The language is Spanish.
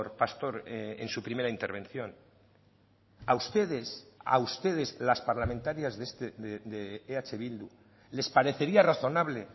pastor en su primera intervención a ustedes a ustedes las parlamentarias de eh bildu les parecería razonable